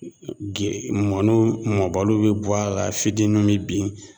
E e ge mɔnuw mɔbaluw bi bɔ a la fitinuw bi bin